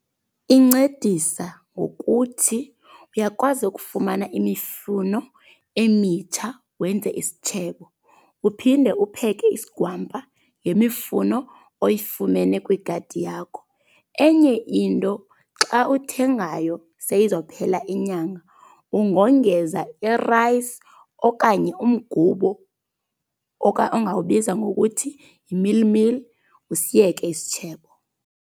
Incedisa ngokuthi uyakwazi ukufumana imifuno emitsha wenze isitshebo. Uphinde upheke isigwampa ngemifuno oyifumene kwigadi yakho. Enye into xa uthengayo seyizophela inyanga ungongeza irayisi okanye umgubo ongawubiza ngokuthi yi-meally meal, usiyeke isitshebo.